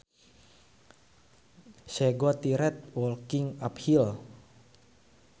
She got tired walking uphill